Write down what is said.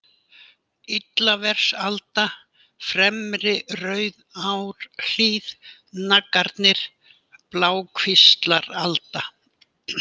Illaversalda, Fremri-Rauðárhlíð, Naggarnir, Blákvíslaralda